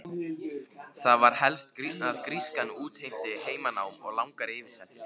Það var helst að grískan útheimti heimanám og langar yfirsetur.